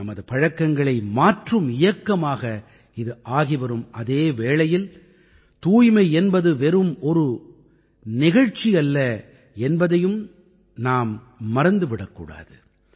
நமது பழக்கங்களை மாற்றும் இயக்கமாக இது ஆகி வரும் அதே வேளையில் தூய்மை என்பது வெறும் ஒரு நிகழ்ச்சி அல்ல என்பதையும் நாம் மறந்து விடக்கூடாது